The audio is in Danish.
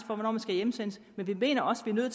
hvornår man skal hjemsendes men vi mener også det